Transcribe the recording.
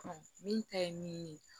min ta ye min ye